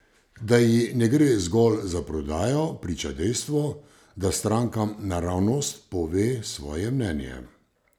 Da ji ne gre zgolj za prodajo, priča dejstvo, da strankam naravnost pove svoje mnenje.